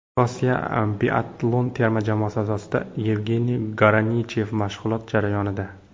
Rossiya biatlon terma jamoasi a’zosi Yevgeniy Garanichev mashg‘ulot jarayonida.